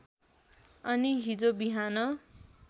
अनि हिजो बिहान